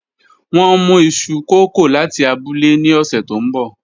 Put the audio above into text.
Wọn n mu iṣu kókò lati abule ni ọsẹ to nbọ